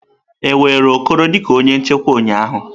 E were Okoro dị ka onye nchekwa ụnyaahụ?